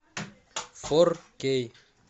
фор кей